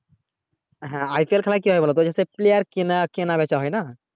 হ্যাঁ IPL কি হয় বলতো যে সে player কিনা কেনা বেচা হয়না